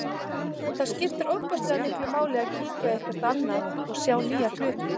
Það skiptir ofboðslega miklu máli að kíkja eitthvert annað og sjá nýja hluti.